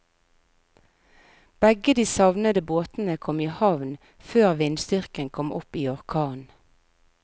Begge de savnede båtene kom i havn før vindstyrken kom opp i orkan.